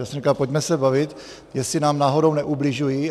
Já jsem říkal, pojďme se bavit, jestli nám náhodou neubližují.